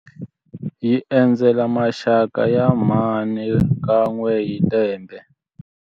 Hi endzela maxaka ya mhani kan'we hi lembe.